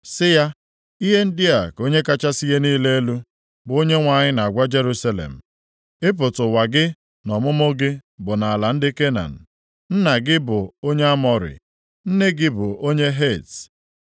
sị ya, ‘Ihe ndị a ka Onye kachasị ihe niile elu, bụ Onyenwe anyị na-agwa Jerusalem: Ịpụta ụwa gị na ọmụmụ gị bụ nʼala ndị Kenan; nna gị bụ onye Amọrị, nne gị bụ onye Het.